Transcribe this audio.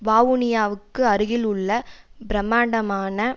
வாவுனியாவுக்கு அருகில் உள்ள பிரமாண்டமான